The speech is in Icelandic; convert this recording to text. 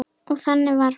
Og þannig var hún.